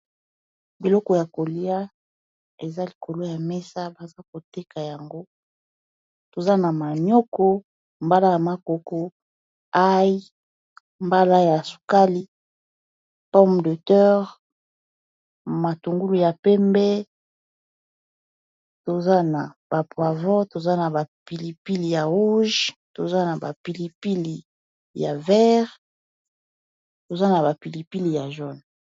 Biloko ya kolia eza likolo ya mesa baza koteka yango toza na manioko mbala ya makoko aïe mbala ya sukali, pomme de terre, matungulu ya pembe, toza na ba poivron toza na ba pilipili ya rouge, toza na ba pilipili ya vert, toza na ba pilipili ya jaune.